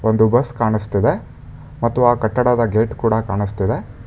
ಒಂದು ಬಸ್ ಕಾಣಸ್ತಿದೆ ಮತ್ತು ಆ ಕಟ್ಟಡದ ಗೇಟ್ ಕೂಡ ಕಾಣಸ್ತಿದೆ.